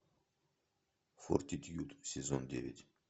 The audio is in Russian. фортитьюд сезон девять